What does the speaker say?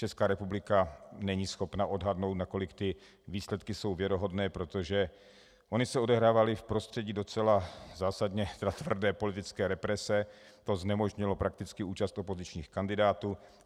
Česká republika není schopna odhadnout, nakolik ty výsledky jsou věrohodné, protože ony se odehrávaly v prostředí docela zásadně tvrdé politické represe a to znemožnilo prakticky účast opozičních kandidátů.